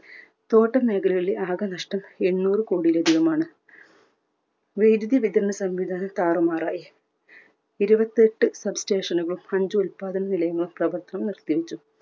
തോട്ടം മേഖലകളിലെ ആകെ നഷ്ടം എണ്ണൂറ് കോടിയിലധികമാണ്. വൈധ്യുതി വിതരണ സംവിധാനം താറുമാറായി. ഇരുപത്തെട്ട് sub station കളും അഞ്ചു ഉത്പാദന നിലയങ്ങളും പ്രവർത്തനം നിർത്തിവെച്ചു.